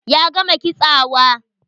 Ya gama kitsawa?